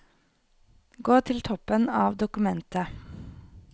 Gå til toppen av dokumentet